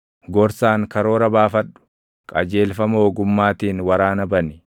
Gorsaan karoora baafadhu; qajeelfama ogummaatiin waraana bani.